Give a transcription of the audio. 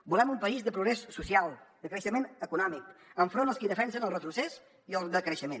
volem un país de progrés social de creixement econòmic enfront dels qui defensen el retrocés i el decreixement